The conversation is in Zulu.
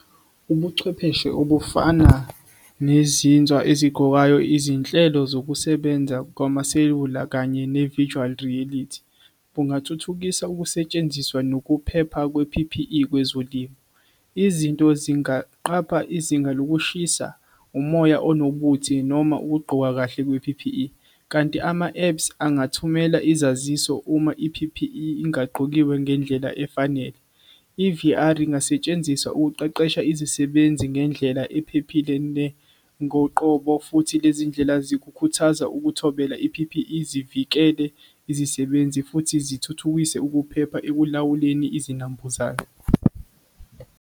Ubuchwepheshe obufana nezinza eziguqukayo izinhlelo zokusebenza kwamaselula kanye ne-visual reality kungathuthukisa ukusetshenziswa nokuphepha kwe-P_P_E kwezolimo. Izinto zingaqapha izinga lokushisa umoya onobuthi noma ukugqoka kahle kwe-P_P_E kanti ama-apps angathumela izaziso uma i-P_P_E ingagqokiwe ngendlela efanele. I-V_R ingasetshenziswa ukuqeqesha izisebenzi ngendlela ephephile ngoqobo futhi lezi ndlela zikhuthaza ukumthobela i-P_P_E zivikeleke izisebenzi futhi zithuthukise ukuphepha ekulawuleni izinambuzane.